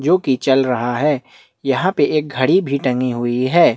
जोकि चल रहा है यहाँ पे एक घड़ी भी टंगी हुई है।